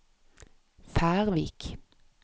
Færvik